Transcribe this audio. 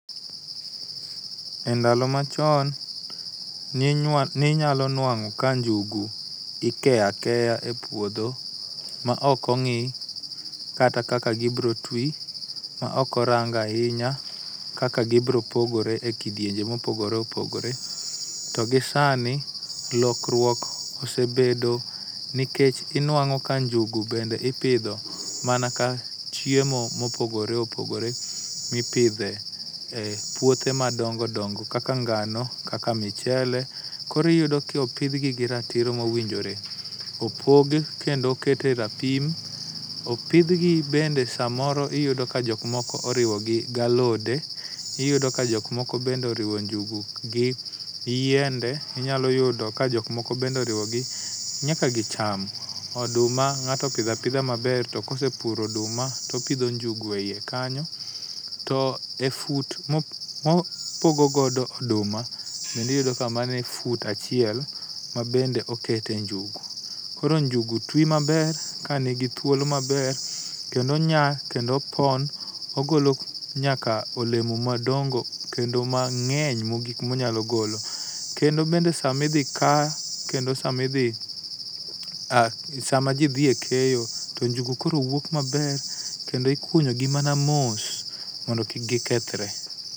Endalo machon ne inyal ne inyalo nuang'oka njugu ikeyo akeya epuodho ma ok og'i kata kaka gibiro twi maok orang ahinya kaka gibiro pogore ekidienje ma opogore opogore to gisani lokruok osebedo nikech inuang'o ka njugu bende ipidho mana ka chiemo ma opogore opogore mipidhe e puothe madongo dongo kaka ngano kaka michele koro iyudo ka opidhgi gi ratiro ma owinjore. Opog kendomoket e rapim opidhgi bende samoro iyudo ka jok moko oriwogi gi alode, iyudo ka jok moko bende oriwo njugu gi yiende inyalo yudomkajok moko bende oriwogi nyaka gi cham. Oduma ng'ato opidhoapidha maber to ka osepuro oduma to opidho njugu eiye kanyo. To e fut ma opogo godo oduma kendo iyudo ka en fut achiel ma bende okete njugu, koro njugu twi maber kanigi thuolo maber kendo onyak kendo opon, ogolo nyaka olemo madongo kendo mang'eny mogik monyalo golo. Kendo bende sama idhi ka kendo sama idhi sama ji dhi e keyo to nugu koro wuok maber kendo ikunyogi mana mos mondo kik gikethre.